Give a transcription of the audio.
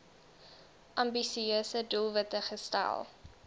ambisieuse doelwitte gestel